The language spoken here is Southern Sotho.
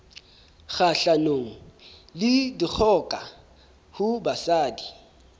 kgahlanong le dikgoka ho basadi